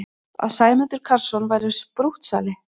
Að Sæmundur Karlsson væri sprúttsali!